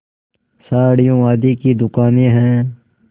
साड़ियों आदि की दुकानें हैं